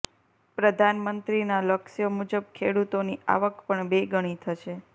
પ્રધાનમંત્રીના લક્ષ્ય મુજબ ખેડૂતોની આવક પણ બે ગણી થશે